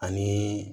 Ani